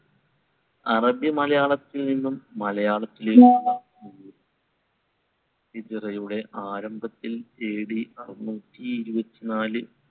അറബി മലയാളത്തിൽനിന്നും മലയാളത്തിലേക്ക് ഹിജ്‌റയുടെ ആരംഭത്തിൽ AD അറുനൂറ്റി ഇരുപത്തിനാല്